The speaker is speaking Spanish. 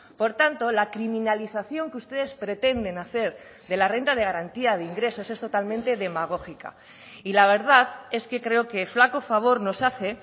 por tanto la criminalización que ustedes pretenden hacer de la renta de garantía de ingresos es totalmente demagógica y la verdad es que creo que flaco favor nos hace